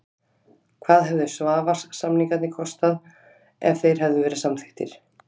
Hvað hefðu Svavars-samningarnir kostað ef þeir hefðu verið samþykktir?